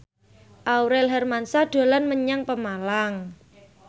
Aurel Hermansyah dolan menyang Pemalang